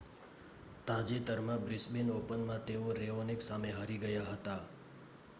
તાજેતરમાં બ્રિસ્બેન ઓપનમાં તેઓ રેઓનિક સામે હારી ગયા હતા